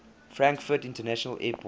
frankfurt international airport